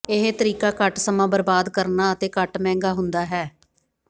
ਇਹ ਤਰੀਕਾ ਘੱਟ ਸਮਾਂ ਬਰਬਾਦ ਕਰਨਾ ਅਤੇ ਘੱਟ ਮਹਿੰਗਾ ਹੁੰਦਾ ਹੈ